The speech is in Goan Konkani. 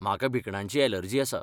म्हाका भिकणांची ऍलर्जी आसा.